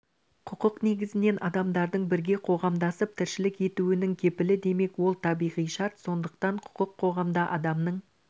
құқық негізінен адамдардың бірге қоғамдасып тіршілік етуінің кепілі демек ол табиғи шарт сондықтан құқық қоғамда адамның